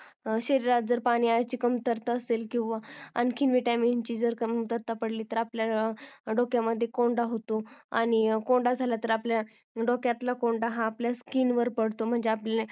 शरीरात जर पाण्याची जास्त कमतरता असेल किंवा आणखीन Cvitamin ची कमतरता पडली तर आपल्या डोक्यामध्ये कोंडा होतो आणि कोंडा झाला तर आपल्या डोक्यातला कोंडा हा आपल्या skin वर पडतो म्हणजे